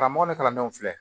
Karamɔgɔ ni kalandenw filɛ